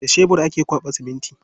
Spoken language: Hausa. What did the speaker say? Da shebur ake kwaɓa siminti.